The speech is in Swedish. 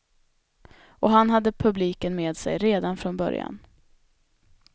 Och han hade publiken med sig redan från början.